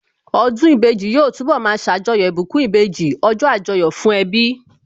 Ọdún ìbejì yóò túnbọ̀ ma ṣàjọyọ̀ ìbùkún ìbejì, ọjọ́ Àjọyọ̀ fún ẹbí